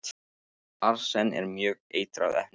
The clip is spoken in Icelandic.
Arsen er mjög eitrað efni.